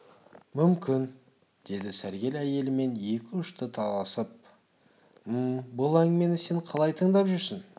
мүмкін деді сәргел әйелімен екі үшты келісіп -мм бұл әңгімені сен қалай тыңдап жүрсің